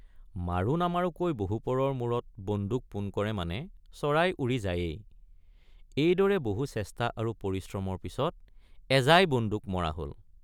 মাৰো নামাৰোকৈ বহুপৰৰ মূৰত বন্দুক পোন কৰে মানে চৰাই উৰি যায়েই এইদৰে বহু চেষ্টা আৰু পৰিশ্ৰমৰ পিচত এজাই বন্দুক মৰা হল।